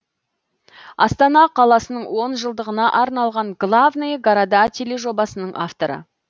астана қаласының он жылдығына арналған главные города тележобасының авторы